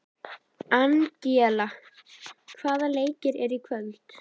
Angelína, hvaða leikir eru í kvöld?